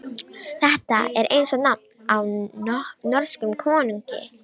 Þetta er eins og nafn á norskum konungi.